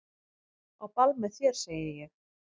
Á ball með þér segi ég.